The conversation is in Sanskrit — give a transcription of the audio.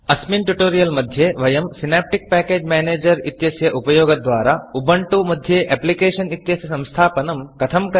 अस्मिन् Tutorialट्युटोरियल् मध्ये वयं सिनेप्टिक् पैकेज Managerसिनाप्टिक् पेकेज् मेनेजर् इत्यस्य उपयोगद्वारा Ubantuउबण्टु मध्ये Applicationएप्लिकेषन् इत्यस्य संस्थापनं कथं करणीयम् इति जानीमः